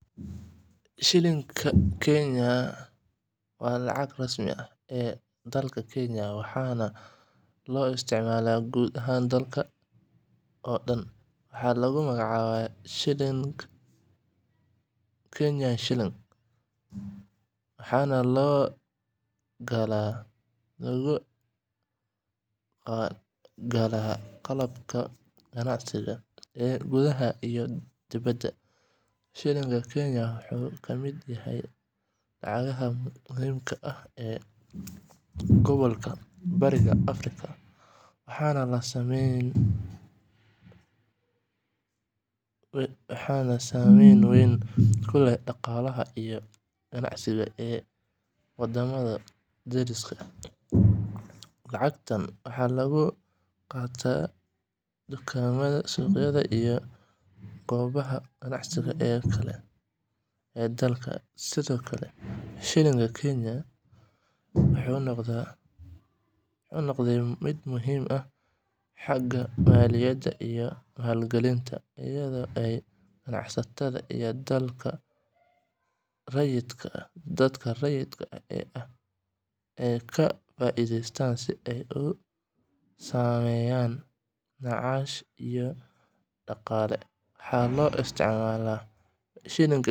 Shilling-ka Kenya waa lacagta rasmiga ah ee dalka Kenya, waxaana loo isticmaalaa guud ahaan dalka oo dhan. Waxaa lagu magacaabaa "Kenyan Shilling" (KES)waxaana lagu galaa qalabka ganacsi ee gudaha iyo dibedda. Shilling-ka Kenya wuxuu ka mid yahay lacagaha muhiimka ah ee gobolka Bariga Afrika, waxaana saameyn weyn ku leh dhaqaalaha iyo ganacsiga ee wadamada dariska ah. Lacagtan waxaa lagu qaataa dukaamada, suuqyada, iyo goobaha ganacsi ee kale ee dalka. Sidoo kale, Shilling-ka Kenya wuxuu noqday mid muhiim ah xagga maaliyadda iyo maalgelinta, iyadoo ay ganacsatada iyo dadka rayidka ah ka faa'iideystaan si ay uga sameeyaan macaash iyo dhaqaale.